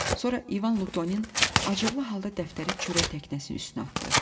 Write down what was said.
Sonra İvan Lutonin acıqlı halda dəftəri çörək təknəsinin üstünə atdı.